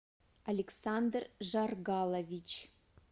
александр жаргалович